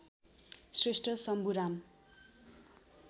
Shrestha Shambhuram